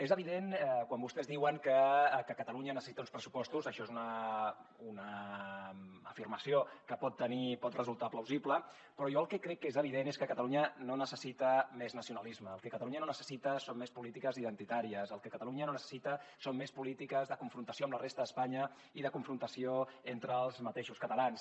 és evident que quan vostès diuen que catalunya necessita uns pressupostos això és una afirmació que pot resultar plausible però jo el que crec que és evident és que catalunya no necessita més nacionalisme el que catalunya no necessita són més polítiques identitàries el que catalunya no necessita són més polítiques de confrontació amb la resta d’espanya ni de confrontació entre els mateixos catalans